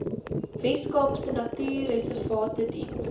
weskaapse natuurreservate diens